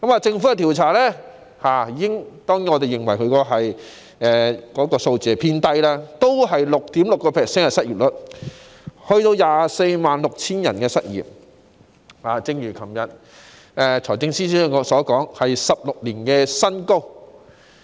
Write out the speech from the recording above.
政府的調查顯示——當然，我們認為有關數字偏低——失業率是 6.6%， 即約有 246,000 人失業，一如財政司司長昨天所說般，是16年新高。